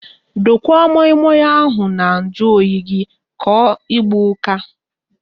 Dokwa moi moi ahụ na nju oyi ka ọ ịgba ụka